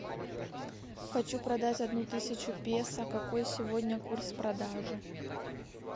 хочу продать одну тысячу песо какой сегодня курс продажи